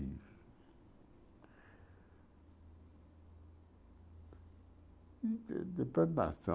De... de depredação.